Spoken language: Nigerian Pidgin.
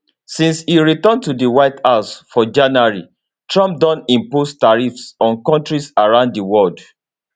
since e return to di white house for january trump don impose tariffs on kontris around di world